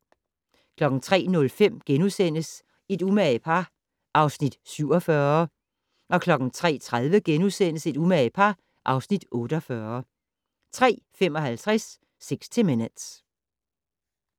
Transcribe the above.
03:05: Et umage par (Afs. 47)* 03:30: Et umage par (Afs. 48)* 03:55: 60 Minutes